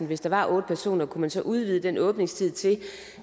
hvis der var otte personer kunne man så udvide den åbningstid til